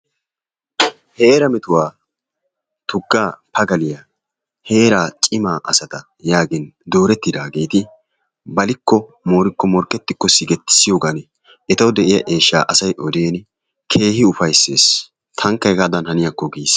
Heeraa metuwa tuggaa pagaliya heeraa cimaa asata yaagin doorettidaageti balikko moorikko woykko morkkettikko sigetissiyogan etawu de'iya eeshshaa asay odiin keehi ufayssiis, tankka hegaadan haniyakko giissees.